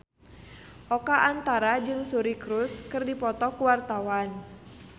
Oka Antara jeung Suri Cruise keur dipoto ku wartawan